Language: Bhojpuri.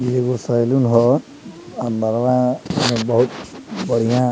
इ एगो सैलून हअ अंदर में बहुत बढ़िया --